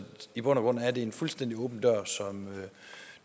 i bund og grund er det en fuldstændig åben dør som